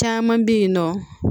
Caman bɛ yen nɔ